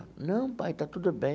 Não, pai, está tudo bem.